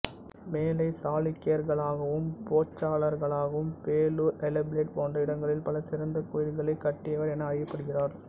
மேலைச் சாளுக்கியர்களுக்காகவும் போசசளர்களுக்காகவும் பேளூர் ஹளேபீடு போன்ற இடங்களில் பல சிறந்தக் கோயில்களைக் கட்டியவர் என அறியப்படுகிறார்